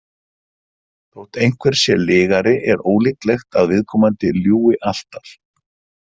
Þótt einhver sé lygari er ólíklegt að viðkomandi ljúgi alltaf.